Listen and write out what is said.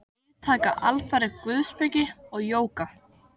Við taka alfarið guðspeki og jóga.